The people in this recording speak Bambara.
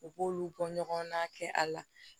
U b'olu bɔ ɲɔgɔn na kɛ a la